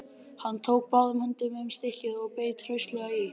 Hann tók báðum höndum um stykkið og beit hraustlega í.